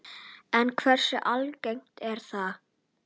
En hversu algengt er það?